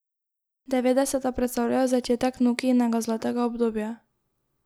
Devetdeseta predstavljajo začetek Nokijinega zlatega obdobja.